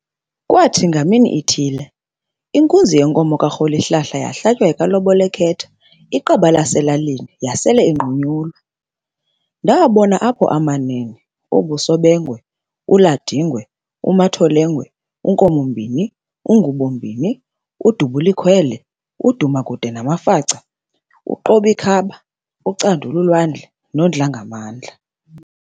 Kwaathi ngamini ithile, inkunzi yenkomo ka"Rholihlahla", yahlatywa yeka"Lobol'ekhetha", iqaba laselalini, yasel'inqunyulwa. Ndabona apho amanene -Oo"Busobengwe", u-"Landingwe", u"Matholengwe", u"Nkomombin"i, u"Ngubombini", u"Dubulekhwele", u"Dumekude", namafaca u"Qobikhab"a, u"Candulwandle", no"Dlangamandla".